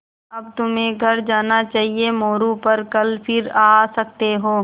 अब तुम्हें घर जाना चाहिये मोरू पर कल फिर आ सकते हो